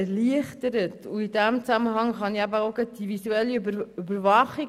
In diesem Zusammenhang erwähne ich jetzt auch gleich die visuelle Überwachung.